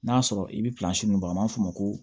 N'a sɔrɔ i bɛ min bɔ a b'a fɔ ko